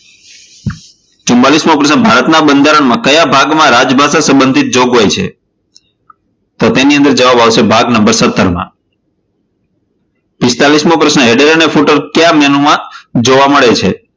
ચુંમાલિશ મો પ્રશ્ન ભારતના બંધારણમાં કયા ભાગમાં રાજભાષા સંબંધિત જોગવાઈ છે તો તેની અંદર જવાબ આવશે ભાગ નંબર સતર માં. પિસ્તાળીસ મો પ્રશ્ન header અને ફૂટર કયા menu માં જોવા મળે છે?